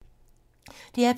DR P2